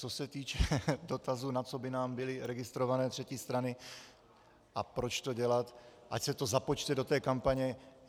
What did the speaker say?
Co se týče dotazu, na co by nám byly registrované třetí strany a proč to dělat, ať se to započte do té kampaně.